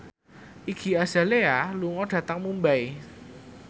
Iggy Azalea lunga dhateng Mumbai